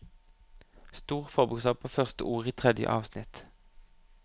Stor forbokstav på første ord i tredje avsnitt